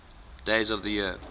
days of the year